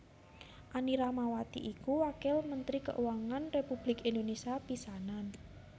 Anny Ratnawati iku Wakil Mentri Kauangan Republik Indonésia pisanan